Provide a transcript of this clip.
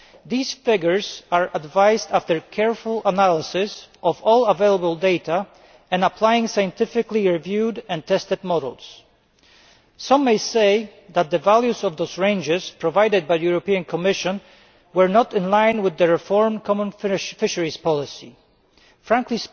These figures are advised after careful analysis of all available data and applying scientifically reviewed and tested models. Some may say that the values of those ranges provided by the Commission were not in line with the reformed common fisheries policy Frankly,